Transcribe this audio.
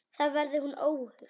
Þar verði hún óhult.